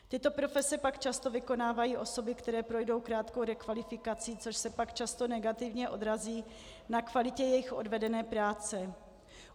Tyto profese pak často vykonávají osoby, které projdou krátkou rekvalifikací, což se pak často negativně odrazí na kvalitě jejich odvedené práce.